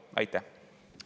Aitäh!